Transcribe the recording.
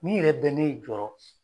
Ni yɛrɛ bɛ ne jɔrɔ